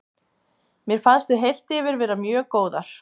Mér fannst við heilt yfir vera mjög góðar.